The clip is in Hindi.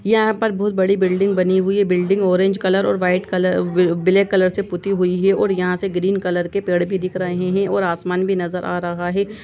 यहाँ पर बहुत बड़ी बिल्डिंग बनी हुई है building orange colour white colour black colour ही पुती हुई है यहाँ से ग्रीन कलर के पेड़ भी दिख रहे है और आसमान भी नज़र रहा है।